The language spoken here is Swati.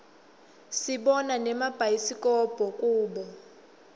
sibona nemabhayisikobho kubo